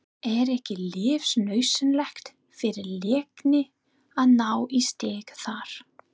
Er ekki lífsnauðsynlegt fyrir Leikni að ná í stig þar?